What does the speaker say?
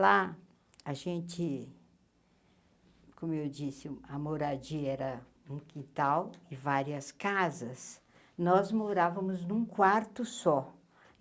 Lá, a gente, como eu disse, a moradia era um quital e várias casas, nós morávamos num quarto só.